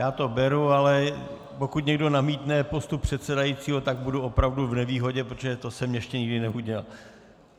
Já to beru, ale pokud někdo namítne postup předsedajícího, tak budu opravdu v nevýhodě, protože to jsem ještě nikdy neudělal.